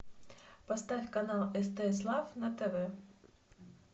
поставь канал стс лав на тв